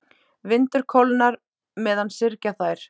Vindur kólnar meðan syrgja þær.